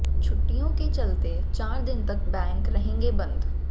छुट्टियों के चलते चार दिन तक बैंक रहेंगे बंद